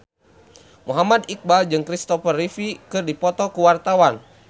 Muhammad Iqbal jeung Kristopher Reeve keur dipoto ku wartawan